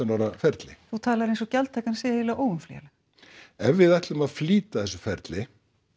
ára ferli þú talar eins og gjaldtakan sé eiginlega óumflýjanleg ef við ætlum að flýta þessu ferli